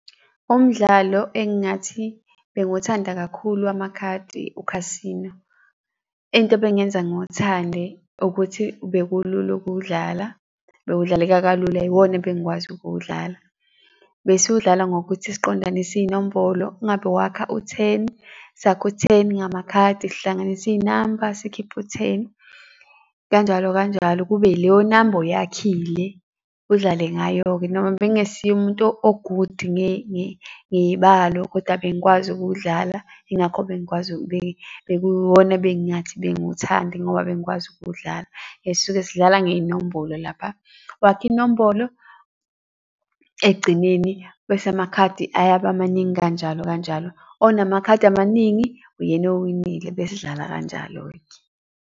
Umdlalo engingathi bengiwuthanda kakhulu wamakhadi u-casino, into ebengenza ngiwuthande ukuthi bekulula ukuwudlala, bewudlaleka kalula, iwona ebengikwazi ukuwudlala. Besiwudlala ngokuthi siqondanise iy'nombolo kungabe wakha u-ten sakhe u-ten ngamakhadi, sihlanganise iy'namba sikhiphe u-ten, kanjalo, kanjalo, kube yileyo namba oyakhile udlale ngayo-ke. Noma bengesiye umuntu o-good ngey'balo koda bengikwazi ukuwudlala yingakho bengikwazi bekuwuwona bengiwuthanda ngoba bengikwazi ukuwudlala. Sisuke sidlala ngey'nombolo lapho. Wakha inombolo ekugcineni, bese amakhadi ayaba maningi kanjalo, kanjalo. Onamakhadi amaningi uyena owinile besidlala kanjalo-ke.